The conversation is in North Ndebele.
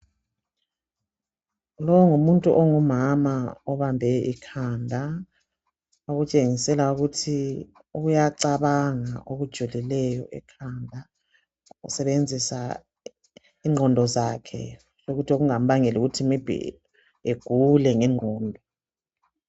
Lo ngumuntu ongumama obambe ikhanda, okutshengisela ukuthi iyacabanga okujulileyo ekhanda esebenzisa ingqondo zakhe. Lokhuthi kungambangela kuthi maybe agule ngengqondo.